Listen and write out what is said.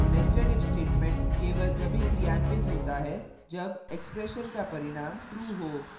netsedif statement केवल तभी क्रियान्वित होता है जब expression का परिणाम true हो